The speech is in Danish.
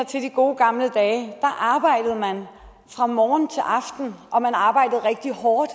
til de gode gamle dage arbejdede man fra morgen til aften og man arbejdede rigtig hårdt